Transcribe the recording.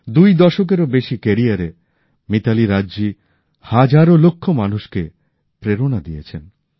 দুই দশকেরও বেশি কেরিয়ারে মিতালী রাজজি হাজারোলক্ষ মানুষকে প্রেরণা দিয়েছেন